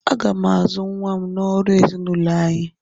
Aga m azụ nwa m n'ọrụ ezinaụlọ anyị